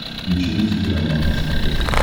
включи русский роман на смотрешке